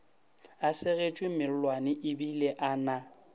a segetšwe mellwaneebile a na